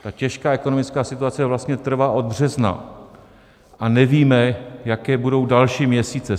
Ta těžká ekonomická situace vlastně trvá od března a nevíme, jaké budou další měsíce.